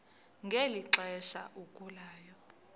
ngeli xesha agulayo